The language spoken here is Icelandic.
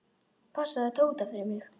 Passaðu Tóta fyrir mig.